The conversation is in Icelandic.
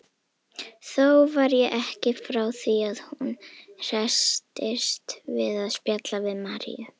Þó var ég ekki frá því að hún hresstist við að spjalla við Maríu.